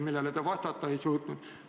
Sellele te vastata ei suutnud.